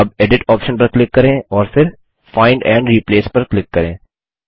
अब edit option पर click करें और फिर फाइंड एंड रिप्लेस पर क्लिक करें